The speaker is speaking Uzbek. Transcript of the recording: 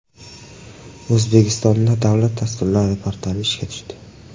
O‘zbekistonda Davlat dasturlari portali ishga tushdi.